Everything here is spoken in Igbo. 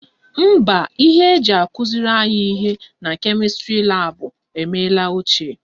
Mba, ihe eji akụziri anyị ihe na kemịstrị laabụ emela ochie